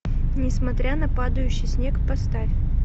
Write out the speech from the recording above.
несмотря на падающий снег поставь